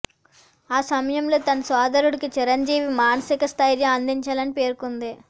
ఆ సమయంలో తన సోదరుడికి చిరంజీవి మానసిక స్థైర్యం అందించారని పేర్కొంది